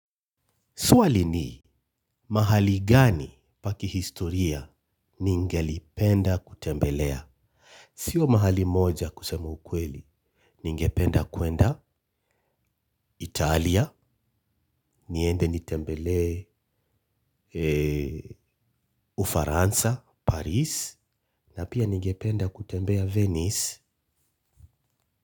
Swali ni, mahali gani pa kihistoria ningelipenda kutembelea? Sio mahali moja kusema ukweli. Ningependa kuenda Italia, niende nitembelee Ufaransa, Paris, na pia ningependa kutembea Venice.